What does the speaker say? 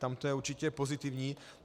Tam to je určitě pozitivní.